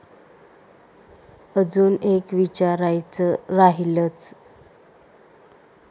अजुन एक विचारायच राहिलच.